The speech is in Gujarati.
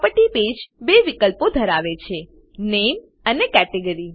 પ્રોપર્ટી પેજ બે વિકલ્પો ધરાવે છે - નામે અને કેટેગરી